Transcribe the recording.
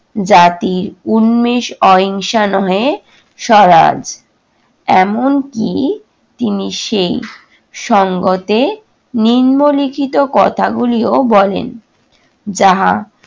জাতির উন্মেষ অহিংসা নহে স্বরাজ। এমনকি তিনি সেই সঙ্গতে নিম্নলিখিত কথাগুলিও বলেন যাহা